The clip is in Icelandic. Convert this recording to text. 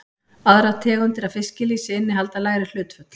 Aðrar tegundir af fiskilýsi innihalda lægri hlutföll.